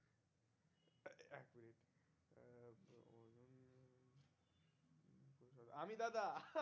আমি দাদা